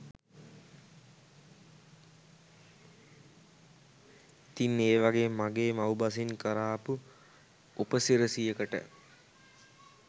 ඉතිං ඒ වගේ මගේ මව්බසෙන් කරාපු උපසි‍රැසියකට